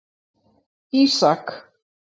Ísak